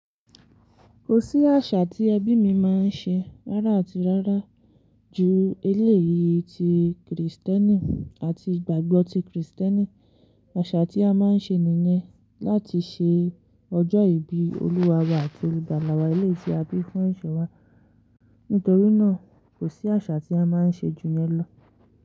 Kò sí àṣà tí ẹbí mi máa ń ṣe rárá àti rárá ju eléyìí ti Krìstẹ́nì àti ìgbàgbọ́ ti Krìstẹ́nì. Àṣà tí a máa ń ṣe nìyẹn láti ṣe ọjọ́ ìbí Olúwa wa àti olùgbàlàwà èléyìí tí a bí fún ẹ̀ṣẹ̀ wa. Nítorí náà, kò sí àṣà tí a máa ń ṣe ju yẹn lọ.